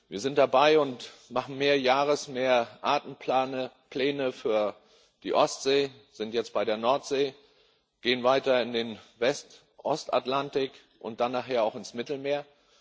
Wir sind dabei und machen Mehrjahres Mehrartenpläne für die Ostsee, wir sind jetzt bei der Nordsee, gehen weiter in den Westostatlantik und dann nachher auch ins Mittelmeer.